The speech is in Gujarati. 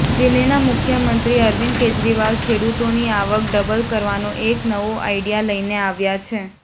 દિલ્હીના મુખ્યમંત્રી અરવિંદ કેજરીવાલ ખેડૂતોની આવક ડબલ કરવાનો એક નવો આઈડિયા લઈને આવ્યા છે